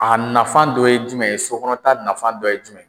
A nafa dɔ ye jumɛn ye, sokɔnɔ ta nafa dɔ ye jumɛn?